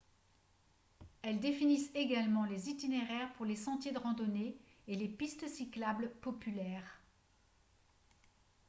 elles définissent également les itinéraires pour les sentiers de randonnée et les pistes cyclables populaires